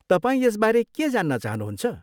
तपाईँ यसबारे के जान्न चाहनुहुन्छ?